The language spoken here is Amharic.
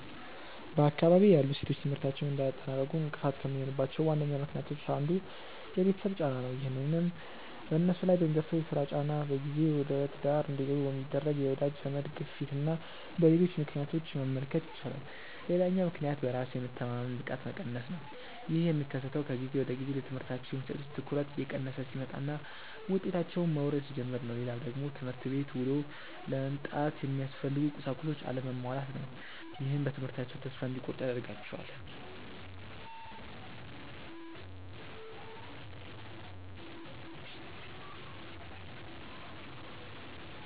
በአካባቢዬ ያሉ ሴቶች ትምህርታቸውን እንዳያጠናቅቁ እንቅፋት ከሚሆኑባቸው ዋነኛ ምክንያቶች አንዱ የቤተሰብ ጫና ነው። ይህንንም በነሱ ላይ በሚደርሰው የስራ ጫና፣ በጊዜ ወደትዳር እንዲገቡ በሚደረግ የወዳጅ ዘመድ ግፊትና በሌሎች ምክንያቶች መመልከት ይቻላል። ሌላኛው ምክንያት በራስ የመተማመን ብቃት መቀነስ ነው። ይህ የሚከሰተው ከጊዜ ወደጊዜ ለትምህርታቸው የሚሰጡት ትኩረት እየቀነሰ ሲመጣና ውጤታቸውም መውረድ ሲጀምር ነው። ሌላው ደግሞ ትምህርት ቤት ውሎ ለመምጣት የሚያስፈልጉ ቁሳቁሶች አለመሟላት ነው። ይህም በትምህርታቸው ተስፋ እንዲቆርጡ ያደርጋቸዋል።